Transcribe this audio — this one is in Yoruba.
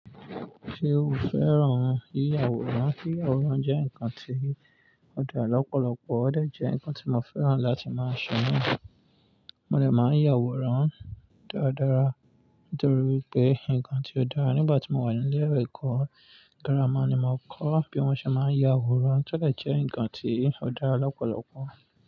Ṣé o fẹ́ràn yíya aworan? Yíya aworan jẹ́ ǹnkan tí ó dára lọ́pọ̀lọpọ̀, ó de jẹ́ ǹnkan tí mo fẹ́ràn láti máa ṣe naa. Mo lè máa yà awòrán tó dára, ntorí wipé ǹnkan tí ó dára. Nígbà tí mo wà ní ilé ẹ̀kọ́ gírámà ni mo kọ́ bí wọ́n ṣe máa ń yà awòrán, tọ́ de jẹ́ ǹnkan tí ó dára lọ́pọ̀lọpọ̀.